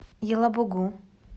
елабугу